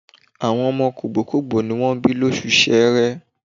Àwọn ọmọ kògbókògbó ní wọ́n bí lóṣù Ṣẹẹrẹ.